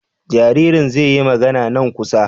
Jaririn zai yi magana nan kusa?